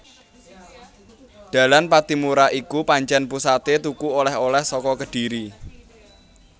Dalan Pattimura iku pancen pusaté tuku oleh oleh saka Kedhiri